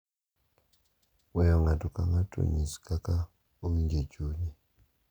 weyo ng’ato ka ng’ato onyis kaka owinjo e chunye,